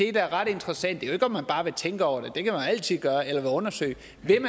er ret interessant det er ikke om man bare vil tænke over det eller undersøge